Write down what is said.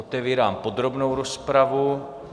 Otevírám podrobnou rozpravu.